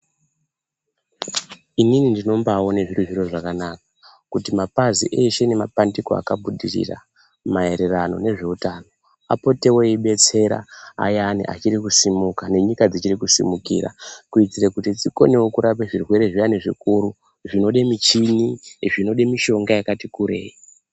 Inini ndinombaaone zviri zviro zvakanaka kuti mapazi eshe nemapandiko akafundisisa maererano nezveutano apotewo eidetsera ayani achiri kusimuka nenyika dzichiri kusimukira, kuitire kuti zvikonewo kurapa zvirwere zviyani zvikuru zvinode michini, zvinode mishonga yakati kurei.